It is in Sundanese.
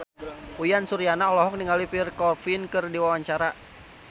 Uyan Suryana olohok ningali Pierre Coffin keur diwawancara